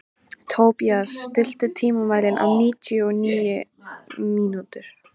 Tobías, stilltu tímamælinn á níutíu og níu mínútur.